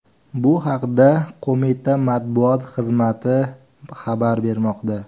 Bu haqda qo‘mita matbuot xizmati xabar bermoqda.